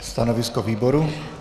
Stanovisko výboru?